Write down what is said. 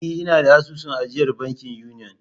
E, ina da asusun ajiyar banki Union.